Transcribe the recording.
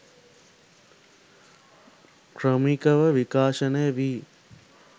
ක්‍රමිකව විකාශනය වී